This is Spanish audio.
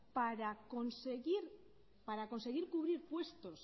para conseguir cubrir puestos